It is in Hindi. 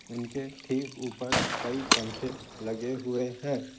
उनके ठीक ऊपर कई पंखे लगे हुए हैं।